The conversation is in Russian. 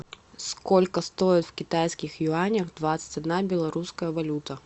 сколько стоит в китайских юанях двадцать одна белорусская валюта